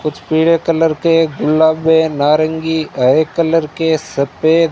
कुछ पीले कलर के गुलाबी नारंगी हरे कलर के सफे--